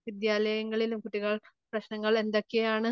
വിദ്യാലയങ്ങളിലും കുട്ടികൾ പ്രശ്നങ്ങൾ എന്തൊക്കെയാണ്